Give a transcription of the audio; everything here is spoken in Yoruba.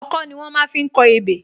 Ọkọ́ ni wón má fi ń kọ ebè